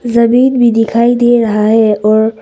जमीन भी दिखाई दे रहा है और--